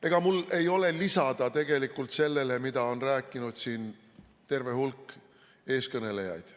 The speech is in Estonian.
Ega mul ei ole tegelikult lisada sellele, mida on rääkinud siin terve hulk eeskõnelejaid.